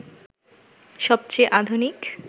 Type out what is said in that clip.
সবচেয়ে আধুনিক